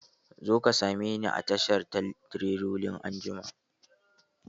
Zo ka same ni a tashan tireloli anjima!